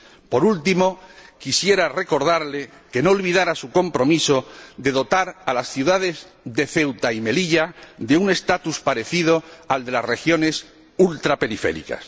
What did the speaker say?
Por último, quisiera recordarle que no olvidara su compromiso de dotar a las ciudades de Ceuta y Melilla de un estatus parecido al de las regiones ultraperiféricas.